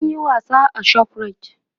sun Yi wasa a shoprite